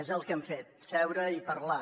és el que hem fet seure i parlar